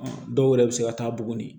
Dɔw yɛrɛ bɛ se ka taa buguni